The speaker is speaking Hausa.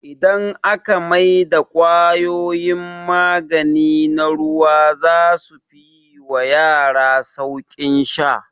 Idan aka mai da kwayoyin magani na ruwa zasu fi yi wa yara sauƙin sha